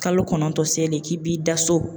Kalo kɔnɔntɔn selen k'i b'i da so